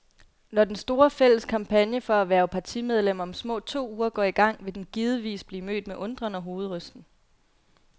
Når den store, fælles kampagne for at hverve partimedlemmer om små to uger går i gang, vil den givetvis blive mødt med undren og hovedrysten.